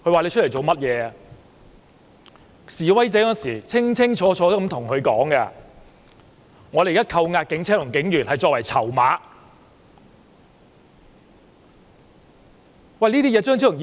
當時示威者清清楚楚對他說，他們扣押警車和警員作為籌碼。